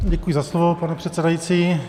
Děkuji za slovo, pane předsedající.